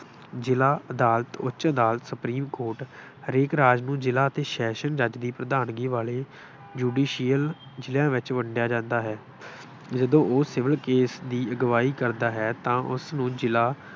ਜਿਲ੍ਹਾ ਅਦਾਲਤ, ਉੱਚ ਅਦਾਲਤ, ਸੁਪਰੀਮ ਕੋਰਟ, ਹਰੇਕ ਰਾਜ ਨੂੰ ਜਿਲ੍ਹਾ ਅਤੇ ਸੈਸ਼ਨ ਜੱਜ ਦੀ ਪ੍ਰਧਾਨਗੀ ਵਾਲੇ judicial ਜਿਲ੍ਹਿਆਂ ਵਿੱਚ ਵੰਡਿਆ ਜਾਂਦਾ ਹੇ। ਜਦੋਂ ਉਹ civil case ਦੀ ਅਗਵਾਈ ਕਰਦਾ ਹੈ ਤਾਂ ਉਸਨੂੰ ਜਿਲ੍ਹਾ